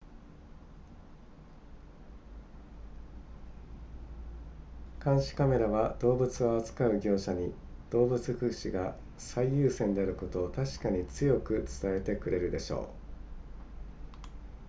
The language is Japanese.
「監視カメラは動物を扱う業者に、動物福祉が最優先であることを確かに強く伝えてくれるでしょう」